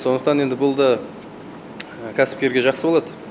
сондықтан енді бұл да кәсіпкерге жақсы болады